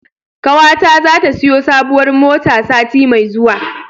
Ƙawata zata siyo sabuwar mota sati mai zuwa.